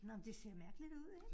Nåh men det ser mærkeligt ud ik?